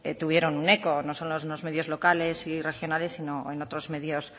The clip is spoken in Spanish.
tuvieron un eco no solo en los medios locales y regionales sino en otros medios